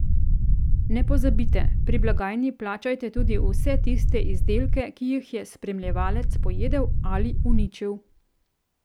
Ne pozabite, pri blagajni plačajte tudi vse tiste izdelke, ki jih je spremljevalec pojedel ali uničil.